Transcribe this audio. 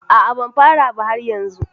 A a, ban fara ba har yanzu